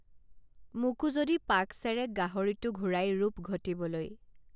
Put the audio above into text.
মোকো যদি পাকচেৰেক গাহৰিটো ঘূৰাই ৰূপ ঘটিবলৈ